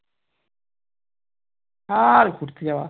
আর ঘুরতে যাওয়া